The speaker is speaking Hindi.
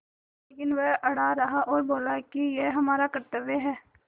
लेकिन वह अड़ा रहा और बोला कि यह हमारा कर्त्तव्य है